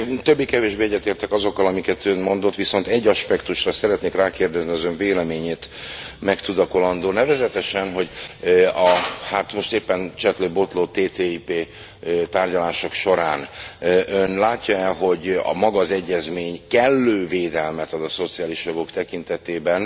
Többé kevésbé egyetértek azokkal, amiket Ön mondott, viszont egy aspektusra szeretnék rákérdezni az Ön véleményét megtudakolandó nevezetesen, hogy a most éppen csetlő botló TTIP tárgyalások során Ön látja e, hogy maga az egyezmény kellő védelmet ad a szociális jogok tekintetében,